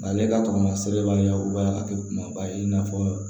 Ale ka kɔngɔ sɛbɛbali ya o b'a kɛ kumaba ye i n'a fɔ